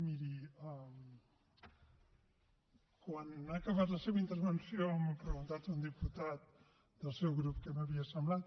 miri quan ha acabat la seva intervenció m’ha preguntat un diputat del seu grup què m’havia semblat